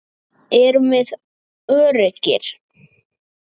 Erum við öruggir?